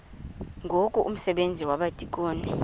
ngoku umsebenzi wabadikoni